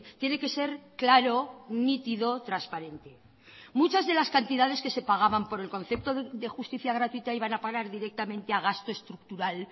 tiene que ser claro nítido transparente muchas de las cantidades que se pagaban por el concepto de justicia gratuita iban a parar directamente a gasto estructural